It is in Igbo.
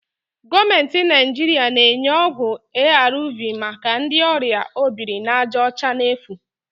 Gọọmentị Naijiria na-enye ọgwụ ARV maka ndị ọrịa obirinajaọcha n'efu